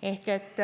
Ehk siis